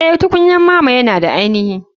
Eh tukunyar mama yana da ainihi.